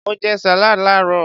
Mo jẹ salad laarọ.